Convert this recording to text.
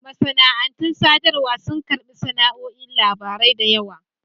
Masana'antun sadarwa sun karɓi nau'o'in labarai da yawa.